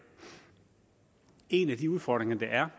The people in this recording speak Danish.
en af de udfordringer der er